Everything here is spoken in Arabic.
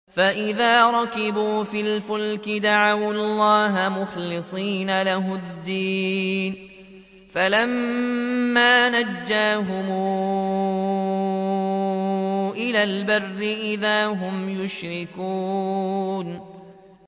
فَإِذَا رَكِبُوا فِي الْفُلْكِ دَعَوُا اللَّهَ مُخْلِصِينَ لَهُ الدِّينَ فَلَمَّا نَجَّاهُمْ إِلَى الْبَرِّ إِذَا هُمْ يُشْرِكُونَ